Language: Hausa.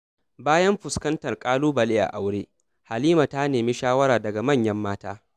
Bayan fuskantar ƙalubale a aure, Halima ta nemi shawara daga manyan mata.